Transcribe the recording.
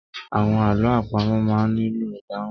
Àwọn àlọ àpamò máa ń nílò ìdáhùn.